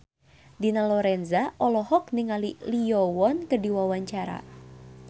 Dina Lorenza olohok ningali Lee Yo Won keur diwawancara